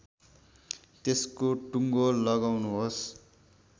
त्यसको टुङ्गो लगाउनुहोस्